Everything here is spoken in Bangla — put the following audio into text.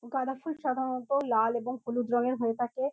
গাদাফুল সাধারণত লাল এবং হলুদ রঙের হয়ে থাকে।